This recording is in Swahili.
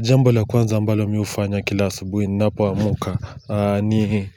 Jambo la kwanza ambalo mi hufanya kila asubui ninapoamka, ni